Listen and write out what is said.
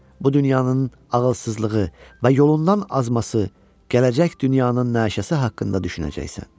Bu dünyanın ağılsızlığı və yolundan azması gələcək dünyanın naşəsi haqqında düşünəcəksən.